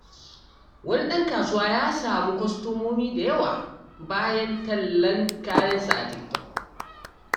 Wani ɗan kasuwa ya samu kwastomomi da yawa bayan tallan kayansa a TikTok.